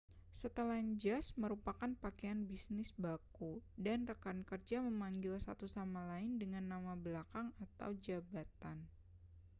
setelan jas merupakan pakaian bisnis baku dan rekan kerja memanggil satu sama lain dengan nama belakang ataupun jabatan